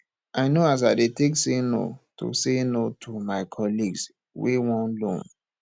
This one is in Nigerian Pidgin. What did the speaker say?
i know as i dey take say no to say no to my colleagues wey want loan